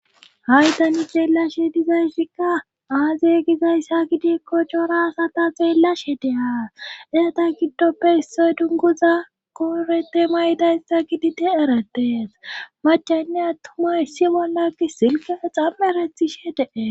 Haydani geellashe dizayssikka aaze gizayssa gidik ko cora asata zeellash hedea ezata giddoppe isse dunguza koorete maydayssa gidite erettees macanne attuma issi bollakki silke xamm erethishe dee